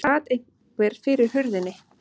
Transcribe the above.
Það sat einhver fyrir hurðinni.